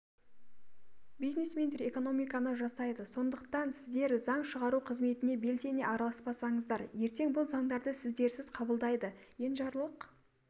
бизнесмендер экономиканы жасайды сондықтан сіздер заң шығару қызметіне белсене араласпасаңыздар ертең бұл заңдарды сіздерсіз қабылдайды енжарлық